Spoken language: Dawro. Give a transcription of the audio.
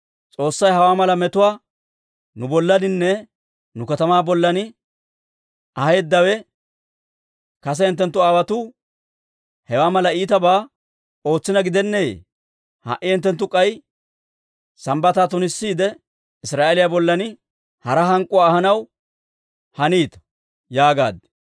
S'oossay hawaa mala metuwaa nu bollaaninne nu katamaa bollan aheeddawe, kase hinttenttu aawotuu hewaa mala iitabaa ootsiina gidenneeyye? Ha"i hinttenttu k'ay Sambbataa tunissiide, Israa'eeliyaa bollan hara hank'k'uwaa ahanaw haniita» yaagaad.